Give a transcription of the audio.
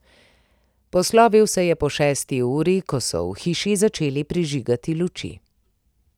Poslovil se je po šesti uri, ko so v hiši začeli prižigati luči.